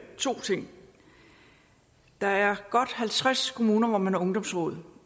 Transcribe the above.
to ting der er godt halvtreds kommuner hvor man har ungdomsråd